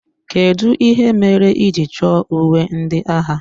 Kedụ ihe mere ị ji chọ uwe ndị agha?